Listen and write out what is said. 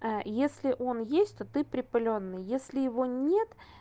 если он есть то ты припылённый если его нет